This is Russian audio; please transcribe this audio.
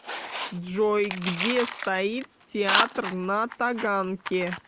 джой где стоит театр на таганке